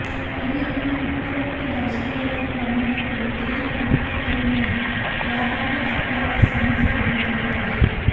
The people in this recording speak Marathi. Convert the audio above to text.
तरी आपण उपरोक्त दर्शवलेल्या प्रमाणे कोणतेही कृत्य करू नये याबाबत आपल्याला समज देण्यात येत आहे